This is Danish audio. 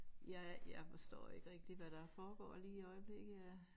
Jeg jeg forstår ikke rigtig hvad der foregår lige i øjeblikket af